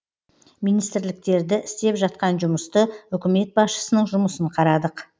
министрліктерді істеп жатқан жұмысты үкімет басшысының жұмысын қарадық